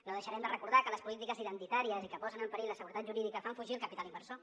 no deixarem de recordar que les polítiques identitàries i que posen en perill la seguretat jurídica fan fugir el capital inversor